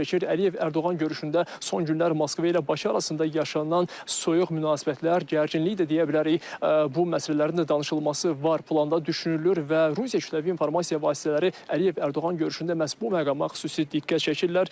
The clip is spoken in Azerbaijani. Əliyev-Ərdoğan görüşündə son günlər Moskva ilə Bakı arasında yaşanan soyuq münasibətlər, gərginlik də deyə bilərik, bu məsələlərin də danışılması var planda düşünülür və Rusiya kütləvi informasiya vasitələri Əliyev-Ərdoğan görüşündə məhz bu məqama xüsusi diqqət çəkirlər.